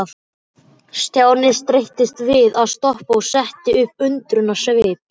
Stjáni streittist við að stoppa og setti upp undrunarsvip.